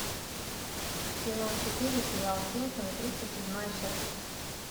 сезон четыре сериал симпсоны тридцать седьмая часть